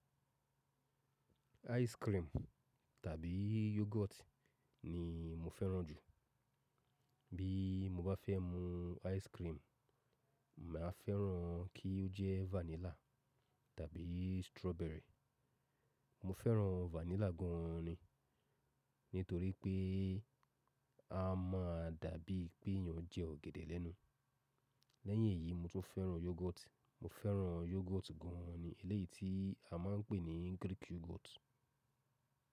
Ice cream tàbí yogurt ni mo fẹ́ràn jù. Bí mo bá fẹ́ mu ice cream, mà á fẹ́ràn kí ó jẹ́ vanilla tàbí strawberry. Mo fẹ́ràn vanilla gan ni, nítorí pé a má a dàbí pé ìyàn jẹ ọ̀gẹ̀dẹ̀ lẹ́nu. Lẹ́yìn èyí mo tún fẹ́ràn yogurt. Mo fẹ́ràn yogurt gan ni, elẹ́yìí tí a máa ń pè ní Greek yogurt.